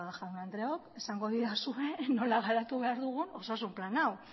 jaun andreok esango didazue nola garatu behar dugun osasun plan hau